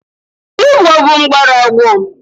Olugbo bụ mgbọrọgwụ.